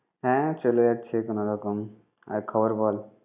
হ্যাঁ চলে যাচ্ছে কোন রকম। আর খবর বল।